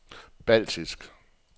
baltiske